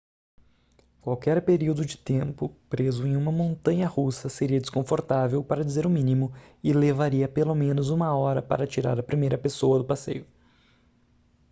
qualquer período de tempo preso em uma montanha-russa seria desconfortável para dizer o mínimo e levaria pelo menos uma hora para tirar a primeira pessoa do passeio